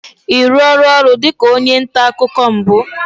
Ị rụọla ọrụ dịka onye nta akụkọ mbụ?